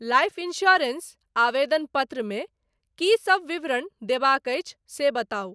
Life insurance आवेदन पत्रमे की सब विवरणक देबाक अछि से बताउ।